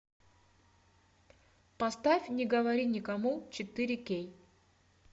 поставь не говори никому четыре кей